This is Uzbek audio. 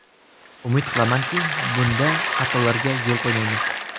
Umid qilamanki, bunda xatolarga yo‘l qo‘ymaymiz.